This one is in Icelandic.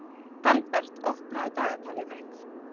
Dalbert, opnaðu dagatalið mitt.